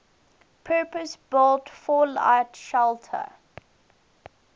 purpose built fallout shelter